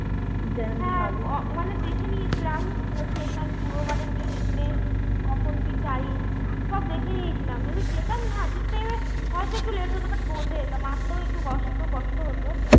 হ্যাঁ ওখানে দেখে নিয়েছিলাম কোন station পুরো মানে কখন কী time সব দেখে নিয়েছিলাম যদি যেতাম না ঠিক time এ হয়ত একটু late হত but পৌছে যেতাম একটু কষ্ট কষ্ট হত।